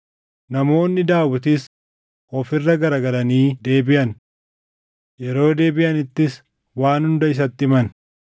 Namoonni Daawitis of irra garagalanii deebiʼan. Yeroo deebiʼanittis waan hunda isatti himan.